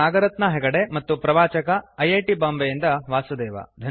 ನಾಗರತ್ನಾ ಹೆಗಡೆ ಮತ್ತು ಪ್ರವಾಚಕ I I T ಬಾಂಬೆಯಿಂದ ವಾಸುದೇವ